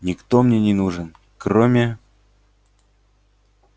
никто мне не нужен кроме